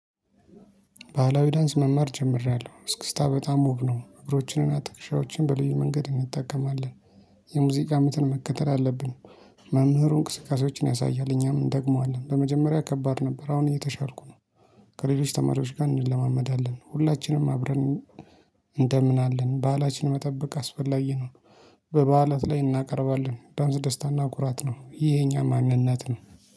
ባህላዊ ዳንስ መማር ጀምሬያለሁ እስክስታ በጣም ውብ ነው እግሮችንና ትከሻዎችን በልዩ መንገድ እንጠቀማለን። የሙዚቃ ምትን መከተል አለብን። መምህሩን እንቅስቃሴዎችን ያሳያል እኛም እንደግመዋለን በመጀመሪያ ከባድ ነበር። አሁን እየተሻልኩ ነው። ከሌሎች ተማሪዎች ጋር እንለማመዳለን። ሁላችንም አብረን እንደምን አለን በአላችን መጠበቅ አስፈላጊ ነው። በበዓላት ላይ እናቀርባለን ዳንስ ደስታና ኩራት ነው። ይሄ የኛ ማንነት ነው